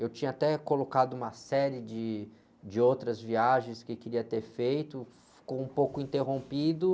Eu tinha até colocado uma série de, de outras viagens que queria ter feito, ficou um pouco interrompido.